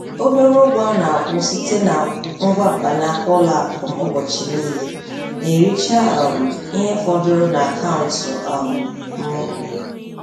Obere ụgwọ a na-akwụ site na ngwa mkpanaka ụlọ akụ m ụbọchị niile na-ericha um ihe fọdụrụ n'akaụntụ um m.